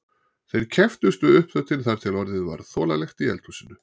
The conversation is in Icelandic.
Þeir kepptust við uppþvottinn þar til orðið var þolanlegt í eldhúsinu.